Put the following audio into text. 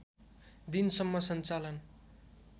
दिनसम्म सञ्चालन